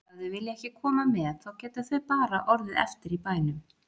Ef þau vilja ekki koma með þá geta þau bara orðið eftir í bænum.